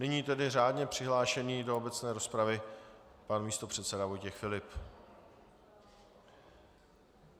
Nyní tedy řádně přihlášený do obecné rozpravy pan místopředseda Vojtěch Filip.